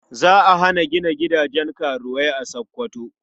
Za a hana gina gidajen karuwai a Sokoto.